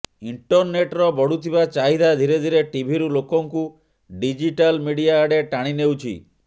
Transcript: ଇଂଟରନେଟର ବଢୁଥିବା ଚାହିଦା ଧୀରେ ଧୀରେ ଟିଭିରୁ ଲୋକଙ୍କୁ ଡିଜିଟାଲ୍ ମିଡିଆ ଆଡେ ଟାଣି ନେଉଛି